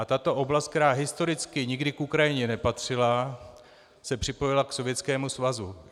A tato oblast, která historicky nikdy k Ukrajině nepatřila, se připojila k Sovětskému svazu.